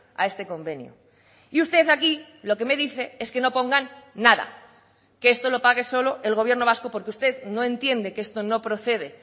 a este convenio y usted aquí lo que me dice es que no pongan nada que esto lo pague solo el gobierno vasco porque usted no entiende que esto no procede